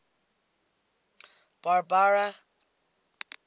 barbara